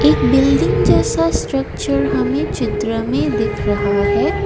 एक बिल्डिंग जैसा स्ट्रक्चर हमें चित्र में दिख रहा है।